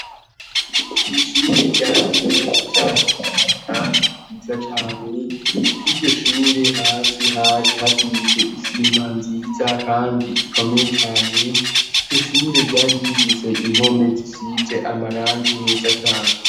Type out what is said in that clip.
Ishure rya kaminuta rinitue, kandi ryiza cane ifo iryo shure hasi hari hasize isima nziza, kandi ikomeye cane iryo shure ryari yimvise impome zisize amaranga imeza cane.